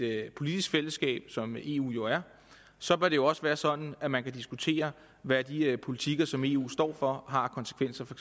politisk fællesskab som eu jo er så bør det jo også være sådan at man kan diskutere hvad de politikker som eu står for har af konsekvenser for